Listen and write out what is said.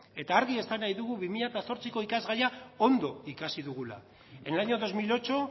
eta argi esan nahi dugu bi milako ikasgaia ondo ikasi dugula en el año dos mil ocho